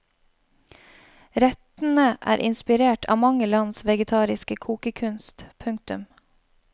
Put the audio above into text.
Rettene er inspirert av mange lands vegetariske kokekunst. punktum